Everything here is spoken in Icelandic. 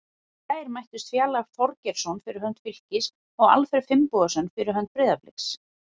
Í gær mættust Fjalar Þorgeirsson fyrir hönd Fylkis og Alfreð Finnbogason fyrir hönd Breiðabliks.